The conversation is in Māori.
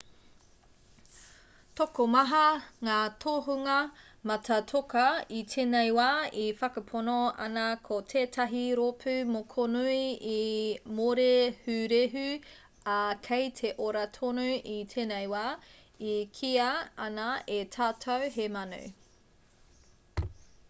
tokomaha ngā tohunga mātātoka i tēnei wā e whakapono ana ko tētahi rōpū mokonui i mōrehurehu ā kei te ora tonu i tēnei wā e kīia ana e tātou he manu